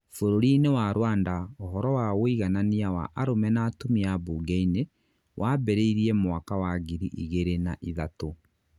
bũrũri-nĩ wa Rwanda ũhoro wa wũiganania wa arũme na atumia mbũnge-inĩ, wambirĩirie mwaka wa ngiri igĩrĩ na ĩthatũ